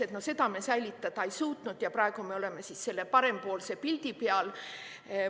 Seda olukorda me säilitada ei suutnud ja praegu me oleme selle parempoolse pildi peal.